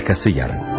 Arxası yarın.